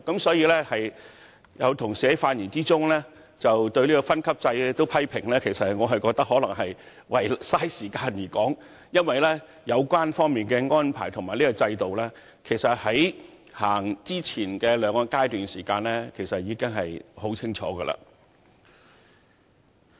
因此，當有同事在發言時連有關分級制也作出批評時，我認為只是為了消耗時間，因為有關安排在制度實施的前兩個階段已清楚說明。